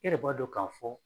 E yɛrɛ b'a dɔ ka fɔ